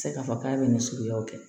tɛ se k'a fɔ k'a bɛ nin suguya kɛ